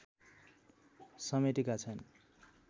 समेटेका छन्